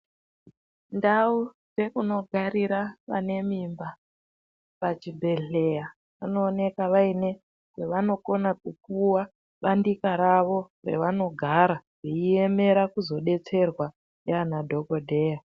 Ndau yekuunogarira vanemimba pachibhedhlera, panooneka paine pevanokona kupiwa bandika ravo revanogara veiemera kuzodetserwa ngaana dhogodheya.